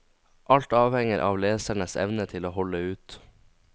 Alt avhenger av lesernes evne til å holde ut.